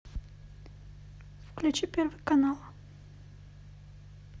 включи первый канал